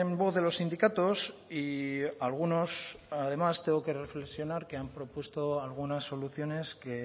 voz de los sindicatos y algunos además tengo que reflexionar que han propuesto algunas soluciones que